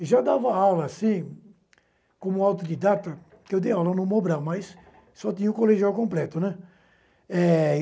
E já dava aula, assim, como autodidata, que eu dei aula no Mobrão, mas só tinha o colegial completo, né. É